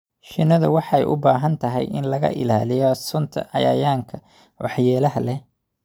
Shinnidu waxay u baahan tahay in laga ilaaliyo sunta cayayaanka waxyeelada leh.